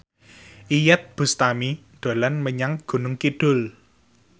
Iyeth Bustami dolan menyang Gunung Kidul